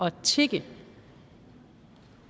at tigge